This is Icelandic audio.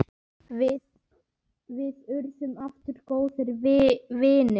Við urðum afar góðir vinir.